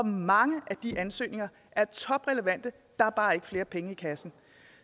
mange af de ansøgninger er toprelevante der er bare ikke flere penge i kassen